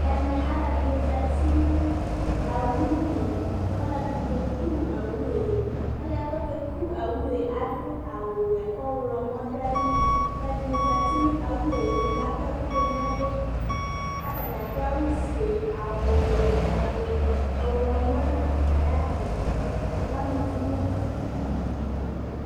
ɛmɛ aloɛdini zati no owu li kò ɔloɛdi ke ku owue ɔloɛ k'oke ku owue ado awu wɛ k'ɔwlɔmɔ do ayili aloɛdini zati no owue li k'akɔ ɛkò do n'ɛlu k'atani ado awu fue awu wɛ awu ɔwlɔmɔ n'ayi adi ni k'ama uvi n'idu